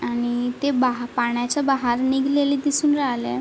आणि ते बा पाण्याच्या बाहेर निघालेले दिसून राहले.